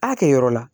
A kɛyɔrɔ la